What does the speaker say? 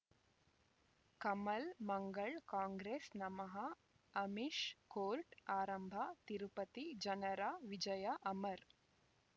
ಕಮಲ್ ಮಂಗಳ್ ಕಾಂಗ್ರೆಸ್ ನಮಃ ಅಮಿಷ್ ಕೋರ್ಟ್ ಆರಂಭ ತಿರುಪತಿ ಜನರ ವಿಜಯ ಅಮರ್